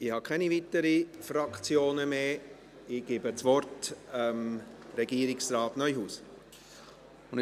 Ich habe keine weiteren Fraktionen mehr, ich gebe Regierungsrat Neuhaus das Wort.